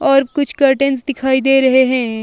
और कुछ कर्टन्स दिखाई दे रहे हैं।